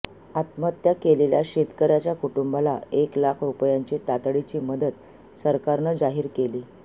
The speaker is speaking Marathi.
आत्महत्या केलेल्या शेतकर्यांच्या कुटुंबाला एक लाख रुपयांची तातडीची मदत सरकारनं जाहीर केली